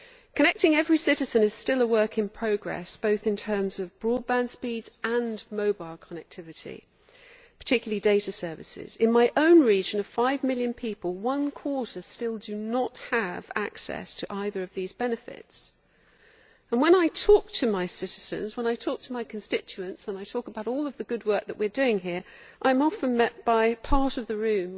Connecting every citizen is still a work in progress, both in terms of broadband speeds and mobile connectivity, particularly data services. In my own region of five million people, one quarter still do not have access to either of these benefits and when I talk to my citizens, to my constituents, and I talk about all of the good work that we are doing here, I am often met with cynical laughter from part of the room